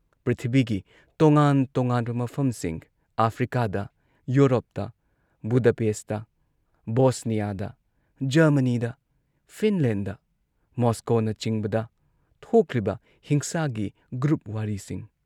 ꯄ꯭ꯔꯤꯊꯤꯕꯤꯒꯤ ꯇꯣꯉꯥꯟ ꯇꯣꯉꯥꯟꯕ ꯃꯐꯝꯁꯤꯡ ꯑꯥꯐ꯭ꯔꯤꯀꯥꯗ ꯌꯨꯔꯣꯞꯇ, ꯕꯨꯗꯥꯄꯦꯁꯠꯇ, ꯕꯣꯁꯅꯤꯌꯥꯗ, ꯖꯔꯃꯅꯤꯗ, ꯐꯤꯟꯂꯦꯟꯗ, ꯃꯣꯁꯀꯣꯅꯆꯤꯡꯕꯗ ꯊꯣꯛꯂꯤꯕ ꯍꯤꯡꯁꯥꯒꯤ ꯒ꯭ꯔꯨꯞ ꯋꯥꯔꯤꯁꯤꯡ